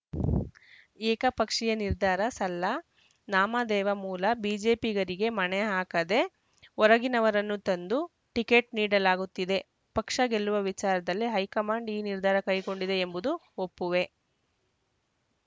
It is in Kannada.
ಏಕಪಕ್ಷೀಯ ನಿರ್ಧಾರ ಸಲ್ಲ ನಾಮದೇವ ಮೂಲ ಬಿಜೆಪಿಗರಿಗೆ ಮಣೆ ಹಾಕದೆ ಹೊರಗಿನವರನ್ನು ತಂದು ಟಿಕೆಟ್‌ ನೀಡಲಾಗುತ್ತಿದೆ ಪಕ್ಷ ಗೆಲ್ಲುವ ವಿಚಾರದಲ್ಲಿ ಹೈಕಮಾಂಡ್‌ ಈ ನಿರ್ಧಾರ ಕೈಗೊಂಡಿದೆ ಎಂಬುದನ್ನು ಒಪ್ಪುವೆ